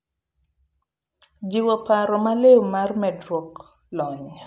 Jiwo paro maliw mar medruok lony.